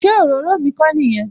Ṣé òróró mi kò nìyẹn?